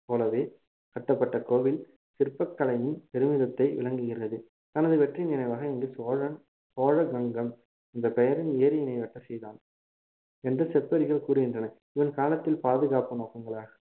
போலவே கட்டப்பட்ட கோவில் சிற்பக்கலையின் பெருமிதத்தை விளங்குகிறது தனது வெற்றியின் நினைவாக இன்று சோழன் சோழ கங்கம் என்ற பெயரின் ஏரியினை வெட்ட செய்தான் என்று செப்பேடுகள் கூறுகின்றன இவன் காலத்தில் பாதுகாப்பு நோக்கங்களாக